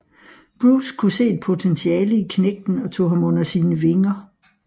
Bruce kunne se et potentiale i knægten og tog ham under sine vinger